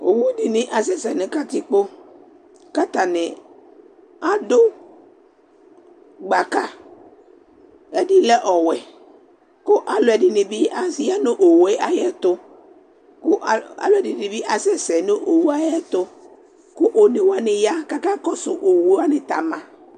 Owu dɩnɩ asɛsɛ nʋ katikpo kʋ atanɩ adʋ gbaka Ɛdɩ lɛ ɔwɛ kʋ alʋɛdɩnɩ bɩ aya nʋ owu yɛ ayɛtʋ kʋ al alʋɛdɩnɩ bɩ asɛsɛ nʋ owu yɛ ayɛtʋ kʋ one wanɩ ya kʋ akakɔsʋ owu wanɩ tɛ ama